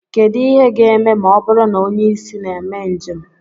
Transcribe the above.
Kedu ihe ga-eme ma ọ bụrụ na onye isi na mee njem